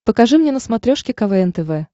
покажи мне на смотрешке квн тв